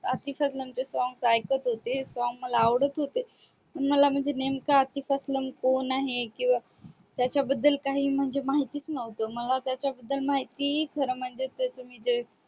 अरतीपेरसोन चे Song ऐकत होती मला पण ते song आवडत होते पण मला म्हणजे नेमक अरतीपेरसोन कोण आहे किंवा त्याच्या बद्दल काही म्हणजे माहितीच नव्हत मला त्याच्या बद्दल माहिती म्हणजे त्याच म्हणजे ते